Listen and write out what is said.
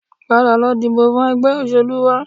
Padà lọ dìbò fún ẹgbẹ́ òṣèlú wa